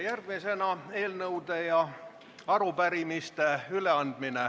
Järgmisena saab üle anda eelnõusid ja arupärimisi.